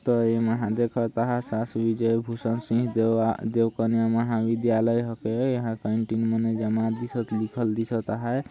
त एमा देखत आहा शाशकीय विजय भूषण सिंह देव कन्या महाविद्यालय हके येह कैंटीन मने जमा दिसत लिखल दिसत आहाय |